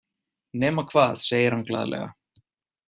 Nema hvað, segir hann glaðlega.